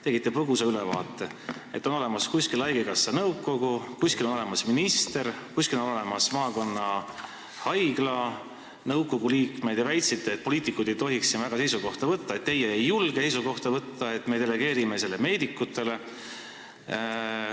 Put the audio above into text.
Tegite põgusa ülevaate, et kuskil on olemas haigekassa nõukogu, kuskil on olemas minister, kuskil on olemas maakonnahaigla nõukogu liikmed, ja väitsite, et poliitikud ei tohiks siin väga seisukohta võtta, et teie ei julge seisukohta võtta, et me delegeerime selle meedikutele.